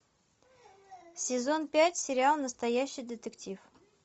сезон пять сериал настоящий детектив